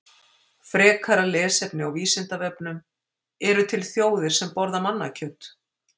Frekara lesefni á Vísindavefnum: Eru til þjóðir sem borða mannakjöt?